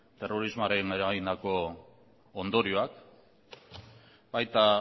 terrorismoak eragindako ondorioak baita